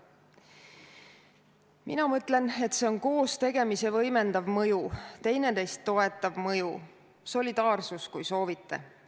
Mina mõtlen, et see on koos tegemise võimendav mõju, üksteist toetav mõju – solidaarsus, kui soovite.